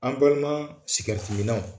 An balimaa sigɛriti minnaw